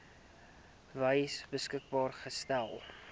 wyse beskikbaar gestel